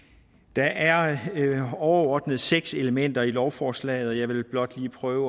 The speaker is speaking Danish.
der er overordnet seks elementer i lovforslaget og jeg vil blot lige prøve